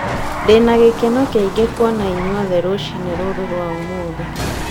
Ndĩna gĩkeno kĩingĩ kũona inyuothe rũcinĩ rũrũ rwa ũmũthĩ.